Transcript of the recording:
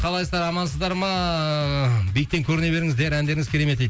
қалайсыздар амансыздар ма биіктен көріне беріңіздер әндеріңіз керемет дейді